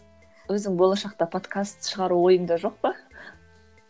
өзің болашақта подкаст шығару ойыңда жоқ па